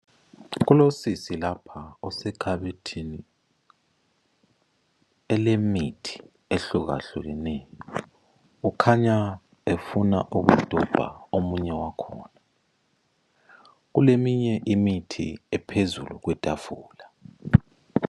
Kulosisi lapha osekhabetheni ,elemithi ehlukahlukeneyo .Kukhanya efuna ukudobha omunye wakhona ,kuleminye imithi ephezulu kwetafula.